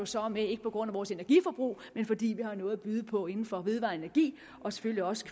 så er med ikke på grund af vores energiforbrug men fordi vi har noget at byde på inden for vedvarende energi og selvfølgelig også